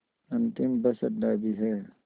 अंतिम बस अड्डा भी है